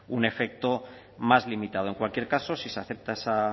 un efecto más limitado en cualquier caso si se acepta esa